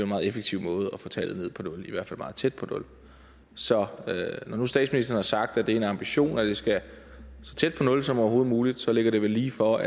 meget effektiv måde at få tallet ned på nul hvert fald meget tæt på nul så når nu statsministeren har sagt at det er en ambition at det skal så tæt på nul som overhovedet muligt så ligger det vel lige for